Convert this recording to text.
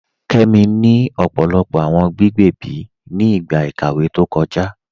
Kẹmi ni ọpọlọpọ awọn gbígbẹ̀bí ni igba ikàwé tó kọja.